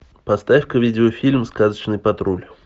поставь ка видеофильм сказочный патруль